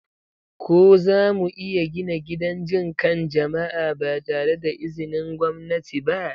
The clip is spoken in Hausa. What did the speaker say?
Ko zamu iya gina gidan jin kan jama'a ba tare da izinin gwamnati ba?